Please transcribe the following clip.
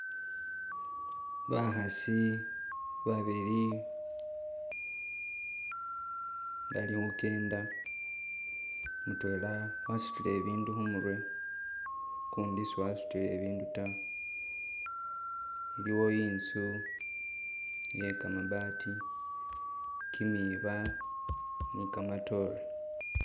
Bakhasi babili balikhukenda mutwela wasutile ibindu khumurye ukundi siwasutile ibindu taa. Iliwo intsu yekamabaati, kimiba ni'kamatore